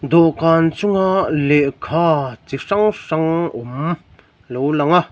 dawhkan chunga lehkha chi hrang hrang awm a lo lang a--